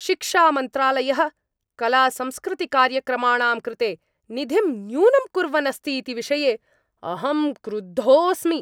शिक्षामन्त्रालयः कलासंस्कृतिकार्यक्रमाणां कृते निधिं न्यूनं कुर्वन् अस्ति इति विषये अहं क्रुद्धोस्मि।